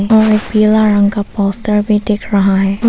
और एक पीला रंग का पोस्टर भी दिख रहा है।